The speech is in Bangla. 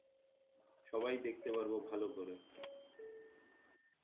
সবাই দেখতে পারবো ভালো করে